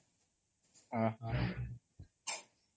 ଓହୋ